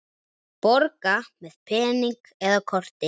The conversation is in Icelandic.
Borga með pening eða korti?